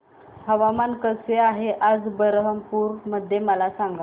हवामान कसे आहे आज बरहमपुर मध्ये मला सांगा